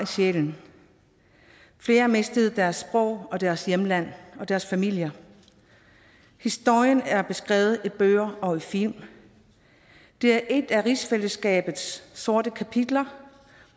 sjælen flere mistede deres sprog deres hjemland og deres familier historien er beskrevet i bøger og film det er et af rigsfællesskabets sorte kapitler